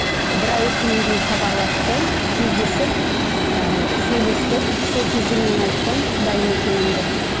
і бір ай өткеннен кейін хабарласты кездесіп ыыы сөйлестік сол кезде мен айттым дайын екенімді